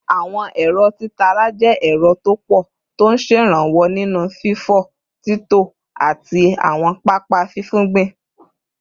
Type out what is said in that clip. Àwọn ẹ̀rọ títara jẹ́ ẹ̀rọ tó pọ̀ tó ń ṣèrànwọ́ nínú fífọ́, títọ́, àti àwọn pápá fífúngbìn